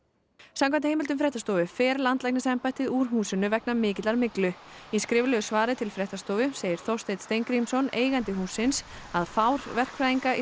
samkvæmt heimildum fréttastofu fer landlæknisembættið úr húsinu vegna mikillar myglu í skriflegu svari til fréttastofu segir Þorsteinn Steingrímsson eigandi hússins að fár verkfræðinga